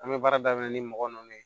An bɛ baara daminɛ ni mɔgɔ ninnu ye